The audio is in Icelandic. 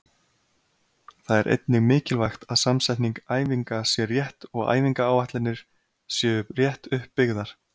Það er einnig mikilvægt að samsetning æfinga sé rétt og æfingaáætlanir séu rétt upp byggðar.